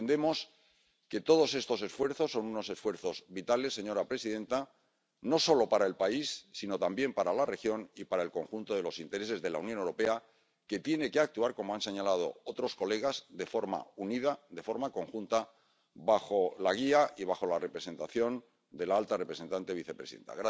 Entendemos que todos estos esfuerzos son unos esfuerzos vitales, señora presidenta, no solo para el país sino también para la región y para el conjunto de los intereses de la Unión Europea, que tiene que actuar ⸻como han señalado otros colegas⸻ de forma unida, de forma conjunta, bajo la guía y bajo la representación de la alta representante y vicepresidenta.